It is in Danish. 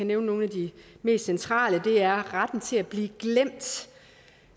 nævne nogle af de mest centrale det er retten til at blive glemt